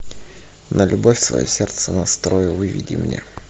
на любовь свое сердце настрою выведи мне